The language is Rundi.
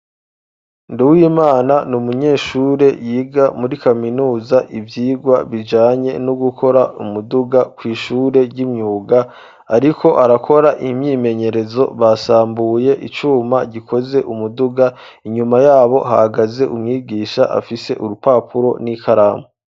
Nduwimana ni umunyeshure yiga muri kaminuza ivyigwa bijanye no gukora umuduga kw’ishure ry'imyuga, ariko arakora imyimenyerezo basambuye icuma gikoze umuduga inyuma yabo hahagaze umwigisha afise urupapuro n'ikaramu.